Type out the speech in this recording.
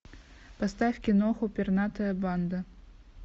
поставь киноху пернатая банда